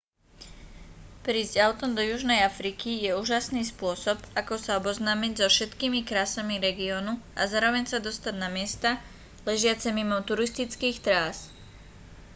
prísť autom do južnej afriky je úžasný spôsob ako sa oboznámiť so všetkými krásami regiónu a zároveň sa dostať na miesta ležiace mimo turistických trás